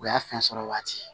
O y'a fɛn sɔrɔ waati